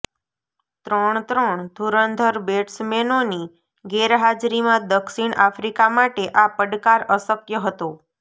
ત્રણ ત્રણ ધૂરંધર બેટસમેનોની ગેરહાજરીમાં દક્ષિણ આફ્રિકા માટે આ પડકાર અશક્ય હતો